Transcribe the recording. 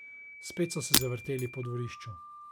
Spet so se zavrteli po dvorišču.